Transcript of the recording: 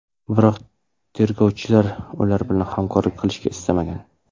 Biroq tergovchilar ular bilan hamkorlik qilishni istamagan.